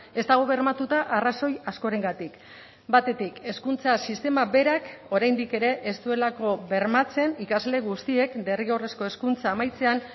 ez dago bermatuta arrazoi askorengatik batetik hezkuntza sistema berak oraindik ere ez duelako bermatzen ikasle guztiek derrigorrezko hezkuntza amaitzean